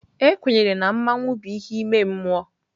Ekwenyere na mmanwu bụ ihe ime mmụọ.